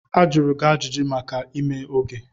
Ajụrụ gị ajụjụ maka ime oge.